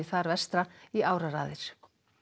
þar vestra í áraraðir